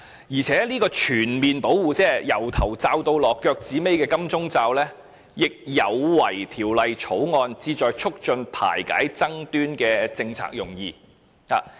而且，這種全面保護，即從頭罩到腳的"金鐘罩"，亦有違《條例草案》旨在促進排解爭端的政策用意。